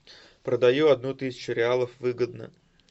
продаю одну тысячу реалов выгодно